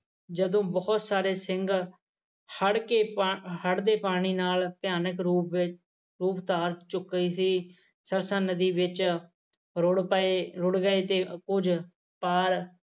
ਜਦੋ ਬਹੁਤ ਸਾਰੇ ਸਿੰਘ ਹੜ ਕੇ ਹੜ ਦੇ ਪਾਣੀ ਨਾਲ ਭਿਆਨਕ ਰੂਪ ਵਿੱਚ ਰੂਪ ਧਾਰ ਚੁੱਕੇ ਸੀ ਸਰਸਾ ਨਦੀ ਵਿੱਚ ਰੁੜ ਪਏ ਰੁੜ ਗਏ ਪਰ